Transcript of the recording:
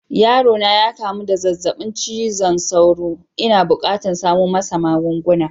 Yaro na ya kamu da zazzabin cizon sauro. N'na bukatan samo masa magunguna.